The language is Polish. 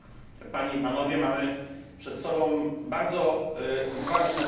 Mamy przed sobą bardzo ważne porozumienie.